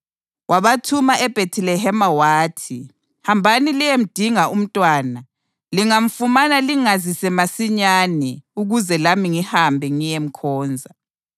Wabathuma eBhethilehema wathi, “Hambani liyemdinga umntwana. Lingamfumana lingazise masinyane ukuze lami ngihambe ngiyemkhonza.”